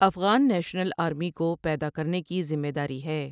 Afghan national army کو پیدا کرنے کی ذمہ داری ہے۔